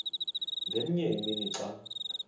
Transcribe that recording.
ngenye imini xa